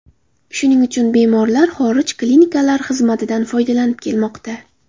Shuning uchun bemorlar xorij klinikalari xizmatidan foydalanib kelmoqda.